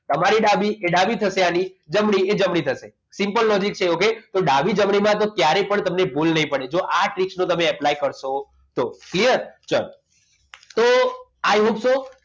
તમારી ડાબી એ ડાબી થશે આની જમણી થશે simple logic છે okay તો ડાબી જમણી માં તમે ક્યારેય પણ ભૂલ નહીં પડે જો આ ટ્રીકનો તમે apply કરશો તો clear ચાલો તો i hope so